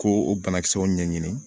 Ko o banakisɛw ɲɛɲini